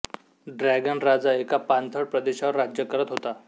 dragon राजा एका पाणथळ प्रदेशावर राज्य करत होता